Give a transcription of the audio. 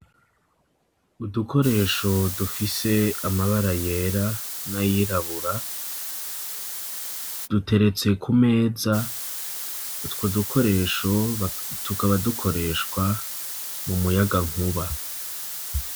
Udukoresho dufise amabara yera n'ayirabura, duteretse ku meza, utwo dukoresho tukaba dukoreshwa mu muyagankuba.